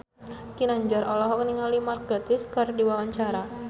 Ginanjar olohok ningali Mark Gatiss keur diwawancara